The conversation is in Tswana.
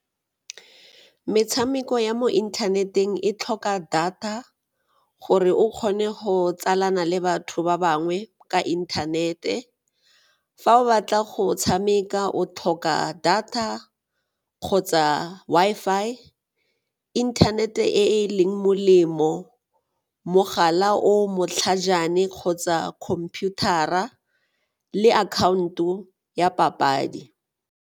Metshameko ya mo inthaneteng e tlhoka data gore o kgone go tsalana le batho ba bangwe ka inthanete. Fa o batla go tshameka o tlhoka data kgotsa Wi-Fi, internet-e e e leng molemo, mogala o o matlhajana e kgotsa computer-ra le account-o ya papadi.